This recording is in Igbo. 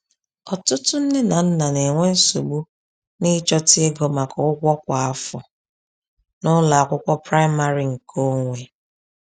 Ọtụtụ nne na nna na-enwe nsogbu n’ịchọta ego maka ụgwọ kwa afọ n’ụlọ akwụkwọ praịmarị nke onwe.